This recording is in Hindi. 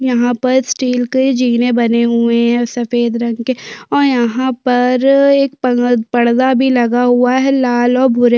यहाँ पर स्टील के जीने बने हुए है सफ़ेद रंग के और यहाँ पर एक पर्दा भी लगा हुआ है लाल और भूरे --